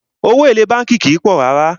Owó èlé bánkì kìí pọ̀ rárá.